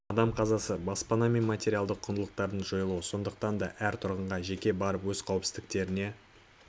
адам қазасы баспана мен материалдық құндылықтардың жойылуы сондықтан да әр тұрғынға жеке барып өз қауіпсіздіктеріне